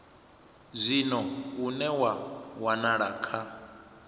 zwino une wa wanala kha